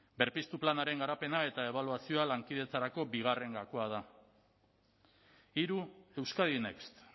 berpiztu planaren garapena eta ebaluazioa lankidetzarako bigarren gakoa da hiru euskadi next